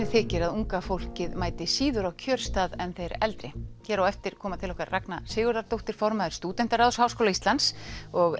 þykir að unga fólkið mæti síður á kjörstað en þeir eldri hér á eftir koma til okkar Ragna Sigurðardóttir formaður Stúdentaráðs Háskóla Íslands og